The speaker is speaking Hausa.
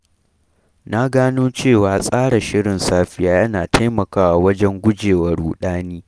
Na gano cewa tsara shirin safiya yana taimakawa wajen guje wa ruɗani